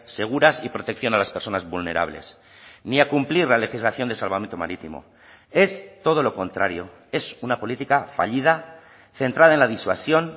seguras y protección a las personas vulnerables ni a cumplir la legislación de salvamento marítimo es todo lo contrario es una política fallida centrada en la disuasión